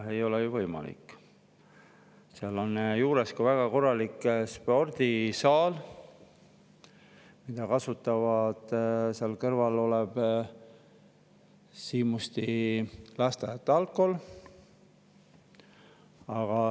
Selle kooli juures on väga korralik spordisaal, mida kasutab kõrval olev Siimusti Lasteaed-Algkool.